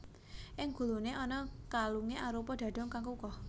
Ing guluné ana kalungé arupa dhadhung kang kukuh